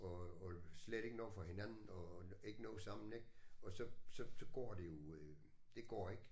Og og slet ikke noget for hinanden og ikke noget sammen ik og så så så går det jo det går ikke